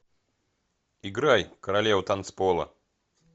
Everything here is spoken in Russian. играй королева танцпола